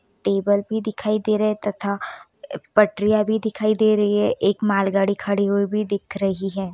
Table भी दिखाई दे रहे है तथा पटरियां भी दिखाई दे रही है एक मालगाड़ी खड़ी हुई भी दिख रही है।